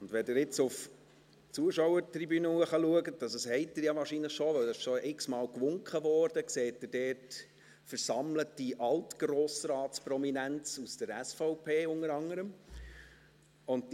Wenn Sie jetzt auf die Zuschauertribüne schauen, das haben Sie ja wahrscheinlich schon, denn da wurde schon x-mal gewinkt, dann sehen Sie dort versammelte Altgrossratsprominenz, unter anderem aus der SVP.